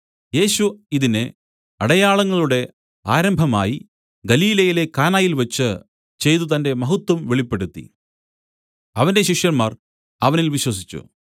യേശു ഇതിനെ അടയാളങ്ങളുടെ ആരംഭമായി ഗലീലയിലെ കാനയിൽവച്ച് ചെയ്തു തന്റെ മഹത്വം വെളിപ്പെടുത്തി അവന്റെ ശിഷ്യന്മാർ അവനിൽ വിശ്വസിച്ചു